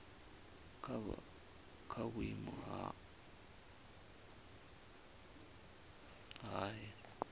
kwa vhuimo ha nha he